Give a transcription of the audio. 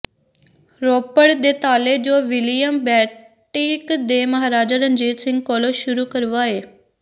ਰੋਪੜ ਦੇ ਤਾਲੇ ਜੋ ਵਿਲੀਅਮ ਬੈਂਟਿੰਕ ਨੇ ਮਹਾਰਾਜਾ ਰਣਜੀਤ ਸਿੰਘ ਕੋਲੋਂ ਸ਼ੁਰੂ ਕਰਵਾਏ